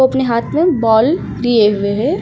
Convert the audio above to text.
अपने हाथ में बाल लिए हुए है।